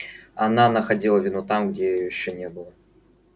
она находила вину там где её ещё и не было